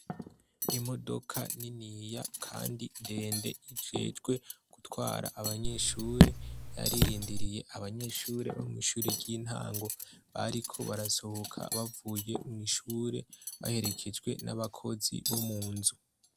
Imodoka niniya kandi ndende ijejwe gutwara abanyeshure yaririndiriye abanyeshure bo mw'ishure ry'intango bariko barasohoka bavuye mw'ishure baherekejwe n'abakozi bo munzu.